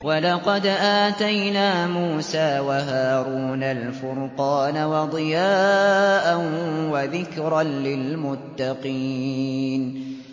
وَلَقَدْ آتَيْنَا مُوسَىٰ وَهَارُونَ الْفُرْقَانَ وَضِيَاءً وَذِكْرًا لِّلْمُتَّقِينَ